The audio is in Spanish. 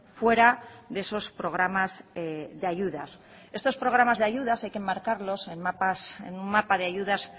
fuera de esos programas de ayudas estos programas de ayudas hay que enmarcarlos en un mapa de ayudas